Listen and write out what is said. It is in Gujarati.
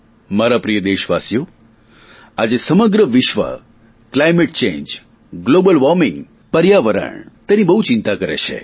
મારા પ્રિય દેશવાસીઓ આજે સમગ્ર વિશ્વ ક્લાઇમેટ ચેન્જ ગ્લોબલ વોર્મિંગ પર્યાવરણ તેની બહુ ચિંતા કરે છે